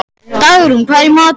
Dagrún, hvað er í matinn?